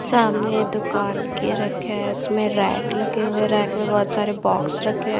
सामने दुकान के रखे है इसमें रैक लगे हुए रैक में बहोत सारे बॉक्स रखे--